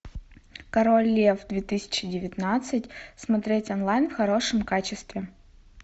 король лев две тысячи девятнадцать смотреть онлайн в хорошем качестве